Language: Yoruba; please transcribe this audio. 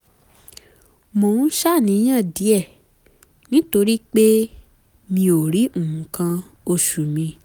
mo ń ṣàníyàn díẹ̀ nítorí pé mi ò rí nǹkan oṣù mi